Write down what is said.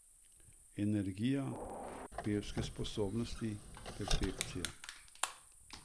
Energija, pevske sposobnosti, perfekcija!